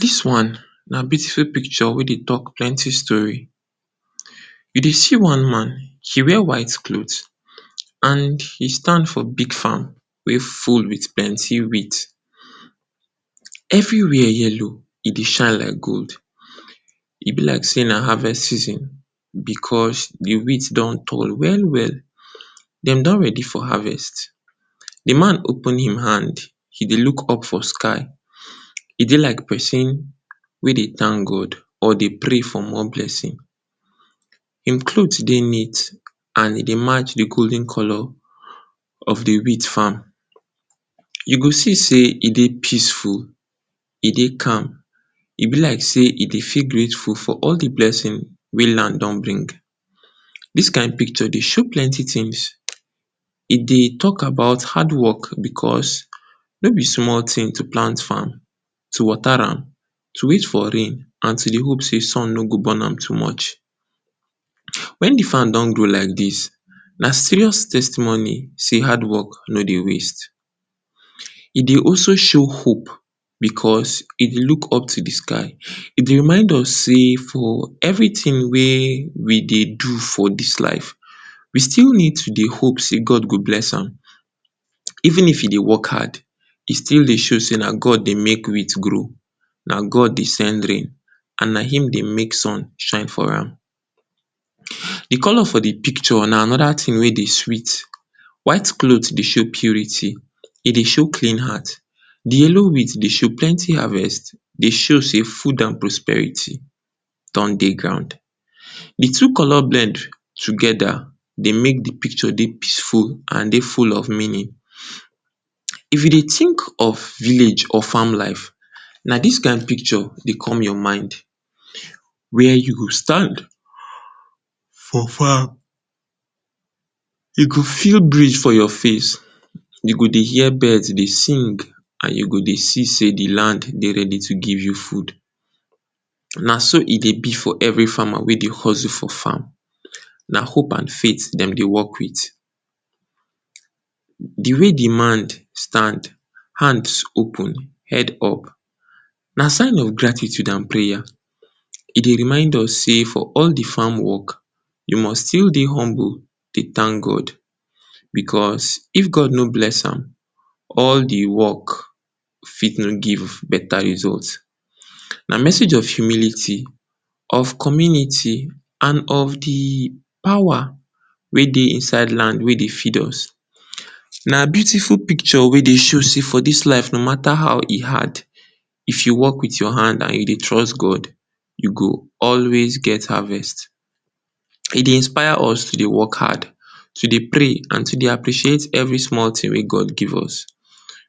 Dis one na beautiful picture wey dey talk plenty story. You dey see one man, e wear white cloth and e stand for big farm wey full with plenty wheat. Everywhere yellow e dey shine like gold, e be like sey na harvest season because, de wheat don tall well-well. Dem don ready for harvest, de man open im hand, he dey look up for sky. E dey like pesin wey dey thank God or dey pray for more blessing. Im cloth dey neat and e dey match de golden color of de wheat farm. You go see sey e dey peaceful, e dey calm, e be like sey e dey feel grateful for all de blessing wey land done bring. Dis kind picture dey show plenty things, e dey talk about hard work because no be small thing to plant farm, to water am, to wait for rain, and to dey hope sey sun no go burn am too much. Wen de farm don grow like dis, na serious testimony sey hard work no dey waste. E dey also show hope because he dey look up to de sky, e dey remind us sey for everything wey we dey do for dis life we still need to dey hope sey God go bless am. Even if he dey work hard, he still dey show sey na God dey make wheat grow, na God dey send rain and na im dey make sun shine for am. e color for de picture na another thing wey dey sweet, white cloth dey show purity, e dey show clean heart. De yellow wheat dey show plenty harvest, dey show sey food and prosperity don dey ground. De two-color blend together dey make de picture dey peaceful and dey full of meaning. If you dey think of village or farm life, na dis kind picture dey come your mind, where you go stand for farm, you go feel breeze for your face, you go dey hear birds dey sing and you go dey see sey de land dey ready to give you food. Na so e dey be for every farmer wey dey hustle for farm, na hope and faith dem dey work with. De way demand stand, hands open head up, na sign of gratitude and prayer. E dey remind us sey for all de farm work, you must still dey humble dey thank God because, if God no bless am all de work fit no give beta result. Na message of humility, of community, and de power wey dey inside land wey dey feed us. Na beautiful picture wey dey show sey for dis life no matter how e hard, if you work with your hand you dey trust God, you go always get harvest. E dey inspire us to dey work hard, to dey pray and to dey appreciate every small thing wey God give us.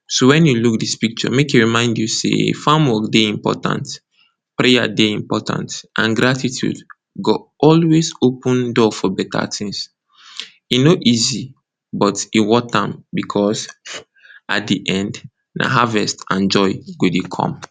So, wen you look dis picture, make e remind you sey farm work dey important, prayer dey important and gratitude go always open door for beta things. E no easy but e worth am because at de end na harvest and joy e go dey come.